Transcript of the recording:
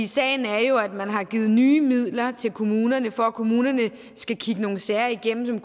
sagen er jo at man har givet nye midler til kommunerne for at kommunerne skal kigge nogle sager igennem som